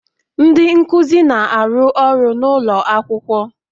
Ndị nkuzi na-arụ ọrụ n'ụlọ akwụkwọ